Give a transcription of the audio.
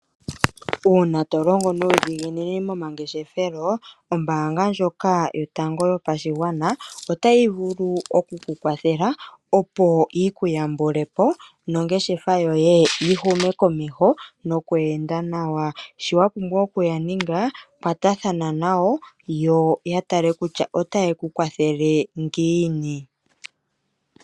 Uuna tolongo nuudhiginini momangeshefelo ombaanga ndjoka yotango yopashigwana otayi vulu oku kwathela opo yiku yambulepo nongeshefa yoye yi hume komeho nokweenda nawa, shiwapumbwa okuya ninga kwatathano nayo yoyatale kutya otaye kukwathele ngiini.